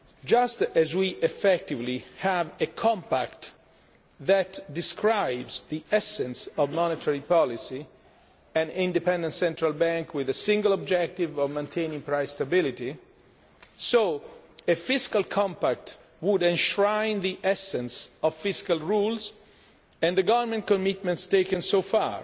made. Just as we effectively have a compact that describes the essence of monetary policy an independent central bank with a single objective of maintaining price stability so a fiscal compact would enshrine the essence of fiscal rules and the government commitments taken